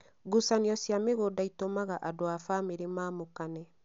Ngucanio cia mĩgũnda itũmaga andũ a famĩrĩ mamũkane